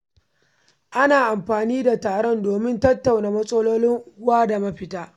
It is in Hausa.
Ana amfani da taron domin tattauna matsalolin unguwa da mafita.